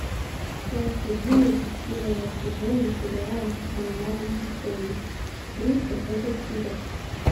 часть одиннадцать первого сезона сериала мой маленький пони дружба это чудо